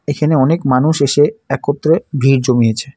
এখানে অনেক মানুষ এসে একত্রে ভিড় জমিয়েছে।